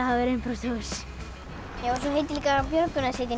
hafi verið innbrotsþjófur svo heitir líka björgunarsveitin